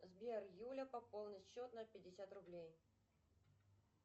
сбер юля пополнить счет на пятьдесят рублей